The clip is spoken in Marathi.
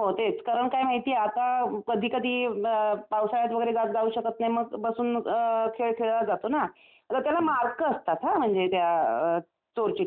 हो तेच कारण काय माहिती आहे आता कधीकधी पावसाळ्यात वगैरे जाऊ शकत नाही ते मग बसून मग खेळ खेळला जातो ना आता त्याला मार्क असतात हा म्हणजे त्या चोरचिठ्ठी खेळाला.